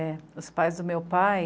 É, os pais do meu pai,